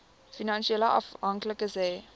finansiële afhanklikes hê